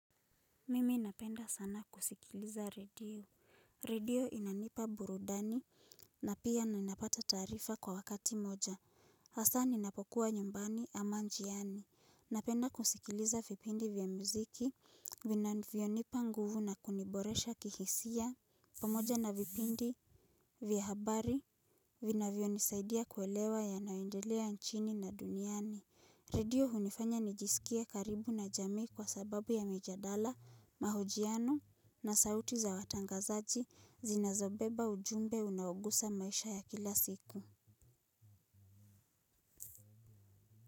Mimi napenda sana kusikiliza redio. Redio inanipa burudani na pia ninapata taarifa kwa wakati moja. Hasa ninapokuwa nyumbani ama njiani. Napenda kusikiliza vipindi vya mziki, vinavyonipa nguvu na kuniboresha kihisia, pamoja na vipindi vya habari, vinavyonisaidia kuelewa yanaendelea nchini na duniani. Redio hunifanya nijisikie karibu na jamii kwa sababu ya mijadala, mahojiano na sauti za watangazaji zinazobeba ujumbe unaogusa maisha ya kila siku.